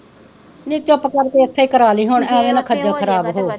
ਨੀ ਚੁੱਪ ਕਰਾਕੇ ਇੱਥੇ ਹੀ ਕਰਵਾਲੀ ਹੁਣ ਅਵੇ ਨਾਂ ਖੱਜਲ ਖਰਾਬ ਹੋ,